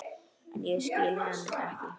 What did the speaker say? En ég skil hann ekki.